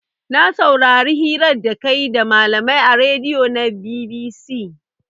Na saurari hirar da kayi da malamai a radion na BBC